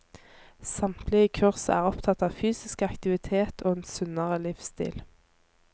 Samtlige kurs er opptatt av fysisk aktivitet og en sunnere livsstil.